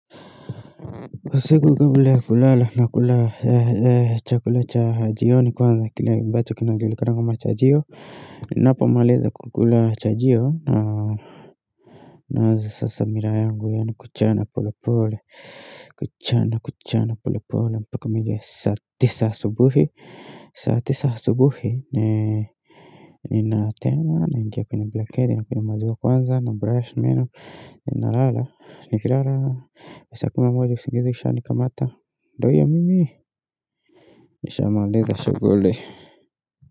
Kwa siku kabla ya kulala nakula chakula cha jioni kwanza kile ambacho kinajulikana kama chajio Ninapomaliza kukula chajio naanza sasa miraa yangu yaani kuchana polepole kuchana kuchana polepole mpaka mida ya saa tisa asubuhi saa tisa asubuhi ninatema naingia kwenye blanketi nakunywa maziwa kwanza nabrush meno nalala nikilala saa kumi usingizi ushanikamata ndio huyo mimi nishamaliza shughuli.